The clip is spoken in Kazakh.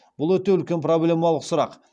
бұл өте үлкен проблемалық сұрақ